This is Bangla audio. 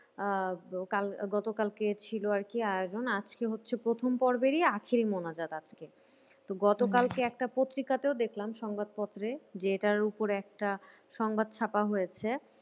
আহ কাল গতকালকে ছিল আর কি আয়োজন আজকে হচ্ছে প্রথম পর্বেরই আখেরি মোনাজাত আজকে। তো গতকালকে একটা পত্রিকাতেও দেখলাম সংবাদপত্রে যে এটার ওপর একটা সংবাদ চাপা হয়েছে।